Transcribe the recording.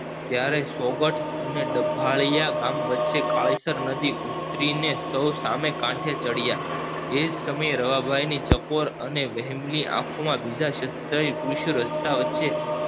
ત્યારે સોગઠ અને ડભાળીયા ગામ વચ્ચે કાળીસર નદી ઉતરીને સૌ સામે કાંઠે ચડ્યા એજ સમયે રવાભાઈ ની ચકોર અને આંખો માં બીજા શ્રદ્ધા એ કિશોર વસ્થા વચ્ચે